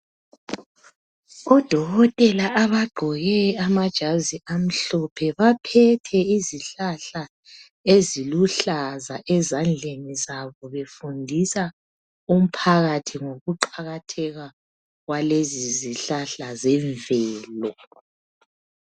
ODokotela abagqoke amajazi amhlophe baphethe izihlahla eziluhlaza ezandleni zabo befundisa umphakathi ngokuqakatheka kwalezi zihlahla zemvelo.